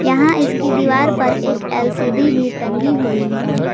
यहां इसकी दीवार पर एक एल_सी_डी भी टंगी हुई है।